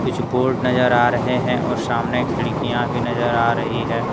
कुछ बोर्ड नजर आ रहे हैं और सामने खिड़कियां भी नजर आ रही है।